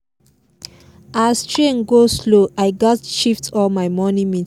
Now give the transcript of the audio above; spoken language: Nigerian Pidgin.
as train go-slow i gats shift all my morning meeting